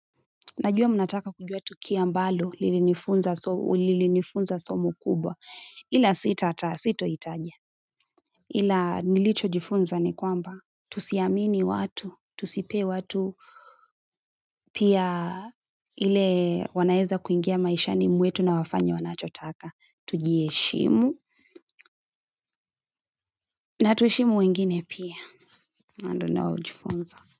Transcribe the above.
Najua mnataka kujua tukio ambalo lilinifunza somo kubwa ila sitata sito itaja ila nilichojifunza nikwamba tusiamini watu tusipee watu pia ile wanaeza kuingia maishani mwetu na wafanye wanachotaka tujiheshimu na tuheshimu wengine pia hayo ndo ninao jifunza.